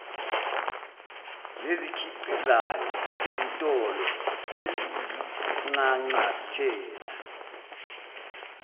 nezikhiqizayo izitolo eziyinxanxathela